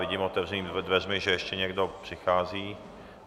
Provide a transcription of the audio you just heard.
Vidím otevřenými dveřmi, že ještě někdo přichází.